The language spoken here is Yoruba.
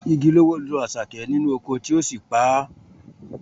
Igi ló wó lu Àṣàkẹ́ nínú oko tí ó sì pa á